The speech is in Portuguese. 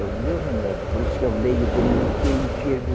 É o meu remédio, por isso que eu leio de noite e enxergo